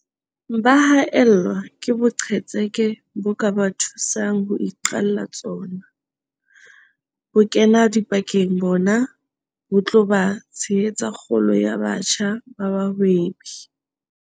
Ba haellwa ke boqhetseke bo ka ba thusang ho iqalla tsona. Bokenadipakeng bona bo tla tshehetsa kgolo ya batjha ba bahwebi.